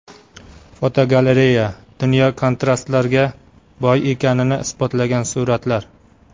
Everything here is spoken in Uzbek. Fotogalereya: Dunyo kontrastlarga boy ekanini isbotlagan suratlar.